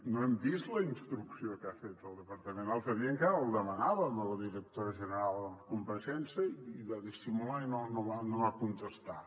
no hem vist la ins·trucció que ha fet el departament l’altre dia encara la demanàvem a la directora general en compareixença i va dissimular i no va contestar